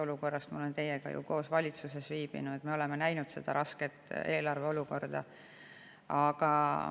Ma olen teiega koos ju valitsuses, me oleme näinud eelarve rasket olukorda.